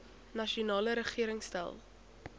nasionale regering stel